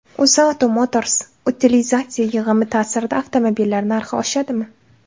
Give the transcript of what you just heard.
UzAuto Motors: Utilizatsiya yig‘imi ta’sirida avtomobillar narxi oshadimi?